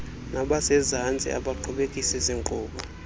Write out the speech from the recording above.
nabasezantsi abaqhubekekisi zinkqubo